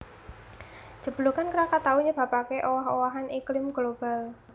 Jeblugan Krakatau nyebabaké owah owahan iklim global